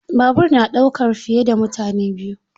Babur na ɗaukar fiye da mutane biyu.